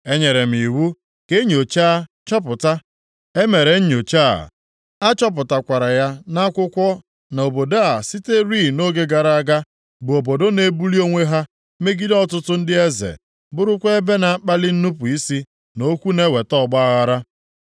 Enyere m iwu ka e nyochaa chọpụta, e mere nyochaa, a chọpụtakwara ya nʼakwụkwọ na obodo a siterị nʼoge gara aga bụ obodo na-ebuli onwe ya megide ọtụtụ ndị eze, + 4:19 Ebe a na-arụtụ aka na nsogbu, na nnupu isi dịrịị nʼoge ọchịchị eze Hezekaya, Jehoiakim nakwa Zedekaya, megide ọchịchị ike nke ndị iro ha na-achị ha. \+xt 2Ez 18; 19; 2Ez 24:20; 2Ih 36:13.\+xt* bụrụkwa ebe na-akpali nnupu isi na okwu na-eweta ọgbaaghara.